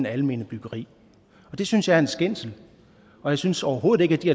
almene byggeri det synes jeg er en skændsel og jeg synes overhovedet ikke at de